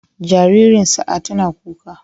Jaririn Sa'a tana kuka.